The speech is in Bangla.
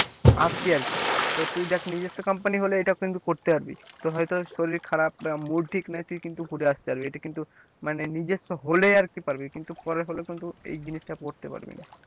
আসছি আর কি তো তুই দেখ নিজস্ব company হলে এটা কিন্তু করতে পারবি, তোর হয়তো শরীর খারাপ mood ঠিক নেই তুই কিন্তু ঘুরে আসতে পারবি এটা কিন্তু মানে নিজস্ব হলে আর কি পারবি কিন্তু পরের হলে কিনতু এই জিনিসটা করতে পারবি না।